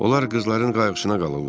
Onlar qızların qayğısına qalırlar.